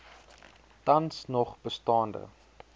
tans nog bestaande